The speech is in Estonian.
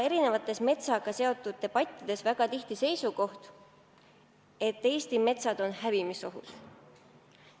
Erinevates metsaga seotud debattides kõlab väga tihti seisukoht, et metsad on hävimisohus.